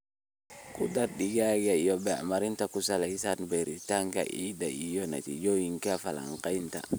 Ku dar digada iyo bacriminta ku salaysan baaritaanka ciidda iyo natiijooyinka falanqaynta.